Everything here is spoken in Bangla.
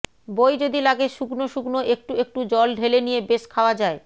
বই যদি লাগে শুকনো শুকনো একটু একটু জল ঢেলে নিয়ে বেশ খাওয়া যায়